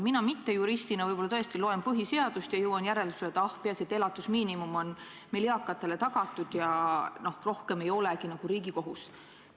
Mina mittejuristina võib-olla tõesti loen põhiseadust ja jõuan järeldusele, et ah, peaasi, et elatusmiinimum on meil eakatele tagatud, ja rohkem ei olegi nagu riigi kohus.